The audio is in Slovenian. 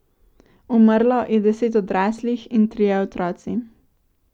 Umrlo je deset odraslih in trije otroci.